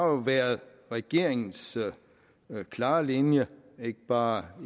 været regeringens klare linje ikke bare